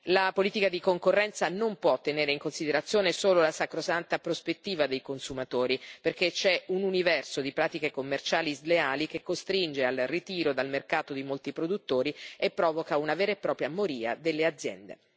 La politica di concorrenza non può tenere in considerazione solo la sacrosanta prospettiva dei consumatori, perché c'è un universo di pratiche commerciali sleali che costringe al ritiro dal mercato di molti produttori e provoca una vera e propria moria delle aziende.